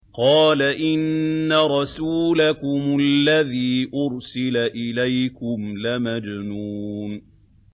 قَالَ إِنَّ رَسُولَكُمُ الَّذِي أُرْسِلَ إِلَيْكُمْ لَمَجْنُونٌ